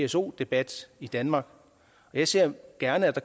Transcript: pso debat i danmark jeg ser gerne at der